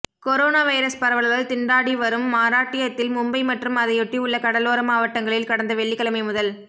corona virus பரவலால் திண்டாடி வரும் மராட்டியத்தில் மும்பை மற்றும் அதையொட்டி உள்ள கடலோர மாவட்டங்களில் கடந்த வெள்ளிக்கிழமை முதல்